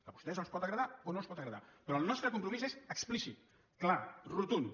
a vostès els pot agradar o no els pot agradar però el nostre compromís és explícit clar rotund